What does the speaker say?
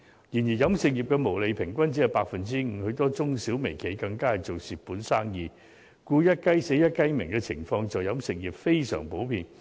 然而，飲食業的毛利平均只是 5%， 很多中、小、微企更正做蝕本生意，所以"一雞死，一雞鳴"的情況在飲食業非常普遍。